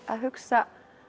að hugsa